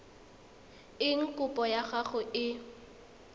eng kopo ya gago e